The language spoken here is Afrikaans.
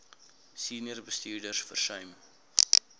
senior bestuurders versuim